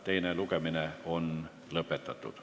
Teine lugemine on lõppenud.